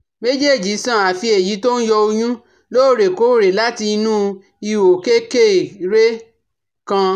Méjèèjì san, àfí èyí tó ń yọ ọyún lóòrè kóòrè láti inú ihò kékeré kan